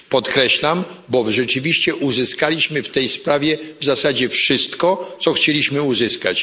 Podkreślam to, bo rzeczywiście uzyskaliśmy w tej sprawie w zasadzie wszystko, co chcieliśmy uzyskać.